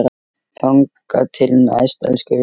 Þangað til næst, elsku vinur.